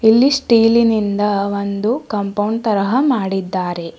ಇಲ್ಲಿ ಸ್ಟೀಲಿ ನಿಂದ ಒಂದು ಕಾಂಪೌಂಡ್ ತರಹ ಮಾಡಿದ್ದಾರೆ.